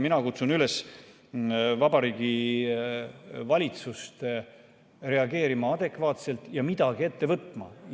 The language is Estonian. Mina kutsun valitsust üles reageerima adekvaatselt ja midagi ette võtma.